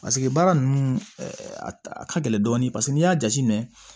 Paseke baara ninnu a ka gɛlɛn dɔɔni paseke n'i y'a jate minɛ